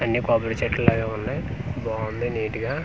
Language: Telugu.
అన్ని కొబ్బరి చెట్లు లాగే ఉన్నాయ్ బాంది నీట్ గా.